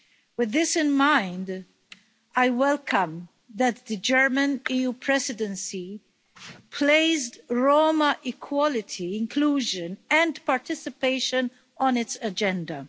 With this in mind, I welcome that the German EU Presidency has placed Roma equality, inclusion and participation, on its agenda.